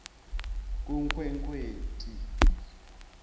kunkhwekhweti